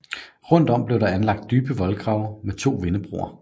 Rundt om blev der anlagt dybe voldgrave med to vindebroer